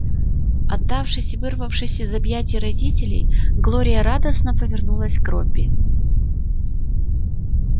отдавшись и вырвавшись из объятий родителей глория радостно повернулась к робби